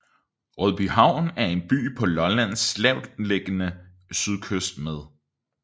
Rødbyhavn er en by på Lollands lavtliggende sydkyst med